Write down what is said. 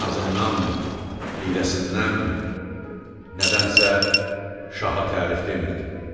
Nazındanmı, hiyləsindənmi, nədənsə şaha tərif demirdi.